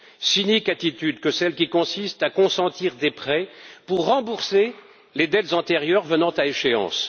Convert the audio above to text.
Cynique attitude que celle qui consiste à consentir des prêts pour rembourser les dettes antérieures venant à échéance.